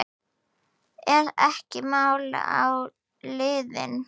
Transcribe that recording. Er ekki mál að linni?